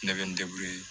Ne bɛ n